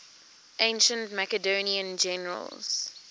ancient macedonian generals